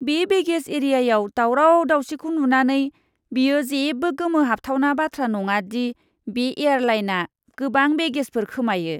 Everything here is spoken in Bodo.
बे बेगेज एरियायाव दावराव दावसिखौ नुनानै, बेयो जेबो गोमोहाबथावना बाथ्रा नङा दि बे एयारलाइनआ गोबां बेगेजफोर खोमायो!